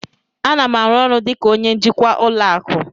A na m arụ ọrụ dị ka onye njikwa ụlọ akụ